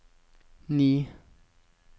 ni